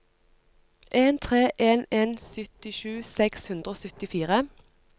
en tre en en syttisju seks hundre og syttifire